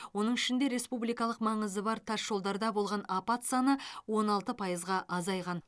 оның ішінде республикалық маңызы бар тас жолдарда болған апат саны он алты пайызға азайған